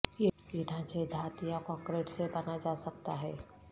یہ ڈھانچے دھات یا کنکریٹ سے بنا جا سکتا ہے